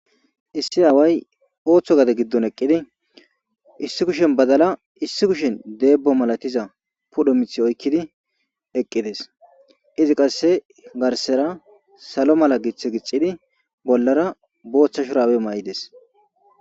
Issi aaway otho gade gidon eqidi issi kushen badala issi kushen debo malatiza pudhe mithiyo oykidi eqides izi qase garsera salo mala githa gidhidi bolara botha shurabe mayides.